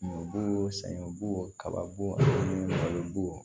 Bo sɛgɛn bo kaba bo ani balo b'o